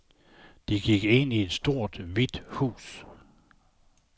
De gik ind i et stort, hvidt hus.